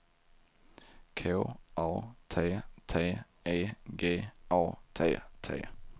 K A T T E G A T T